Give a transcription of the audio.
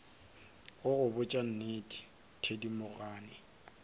go go botša nnete thedimogane